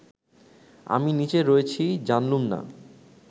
আমি নিচে রয়েছি জানলুম না